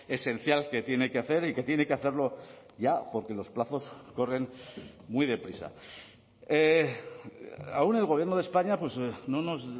esencial que tiene que hacer y que tiene que hacerlo ya porque los plazos corren muy deprisa aún el gobierno de españa no nos